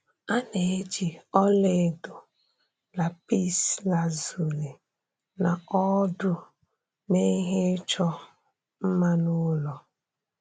A na-eji ọla edo, lapis lazuli, na ọdu mee ihe ịchọ mma na ụlọ.